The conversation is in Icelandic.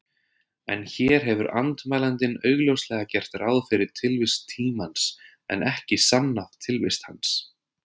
En hér hefur andmælandinn augljóslega gert ráð fyrir tilvist tímans, en ekki sannað tilvist hans.